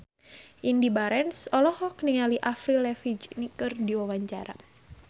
Indy Barens olohok ningali Avril Lavigne keur diwawancara